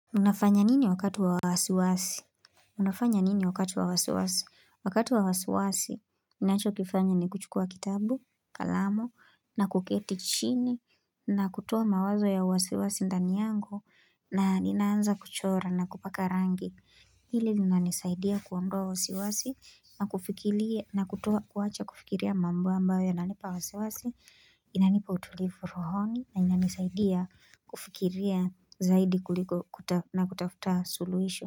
Unafanya nini wakati wa wasiwasi? Unafanya nini wakati wa wasiwasi? Wakati wa wasiwasi, ninacho kifanya ni kuchukua kitabu, kalamu, na kuketi chini, na kutowa mawazo ya wasiwasi ndani yangu, na ninaanza kuchora na kupaka rangi. Hili lina nisaidia kuondua wasiwasi, na kufikilia, na kutowa kuwacha kufikiria mambo ambayo yananipa wasiwasi, inanipa utulivu rohoni na inani saidia kufikiria zaidi kuliko na kutafuta suluhisho.